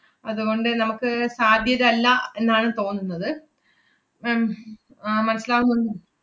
അതുകൊണ്ട് നമ്മക്ക് സാധ്യതല്ലാ എന്നാണ് തോന്നുന്നത് ma'am ഹും ആഹ് മനസ്സിലാവുന്നുണ്ടോ?